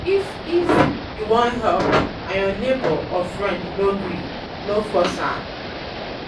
if if you won help and your neighbor or friend no gree no force am